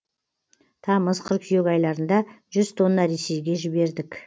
тамыз қыркүйек айларында жүз тонна ресейге жібердік